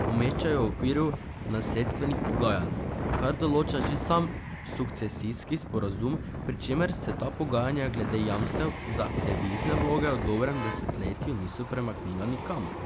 Umešča jo v okviru nasledstvenih pogajanj, kar določa že sam sukcesijski sporazum, pri čemer se ta pogajanja glede jamstev za devizne vloge v dobrem desetletju niso premaknila nikamor.